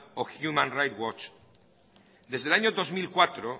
o human right watch desde el año dos mil cuatro